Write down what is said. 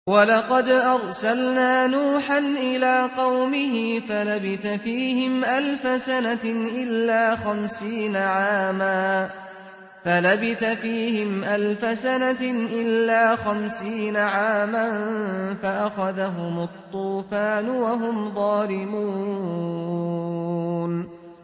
وَلَقَدْ أَرْسَلْنَا نُوحًا إِلَىٰ قَوْمِهِ فَلَبِثَ فِيهِمْ أَلْفَ سَنَةٍ إِلَّا خَمْسِينَ عَامًا فَأَخَذَهُمُ الطُّوفَانُ وَهُمْ ظَالِمُونَ